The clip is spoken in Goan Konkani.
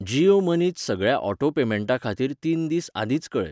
जीयो मनी त सगळ्या ऑटो पेमेंटां खातीर तीन दीस आदींच कऴय.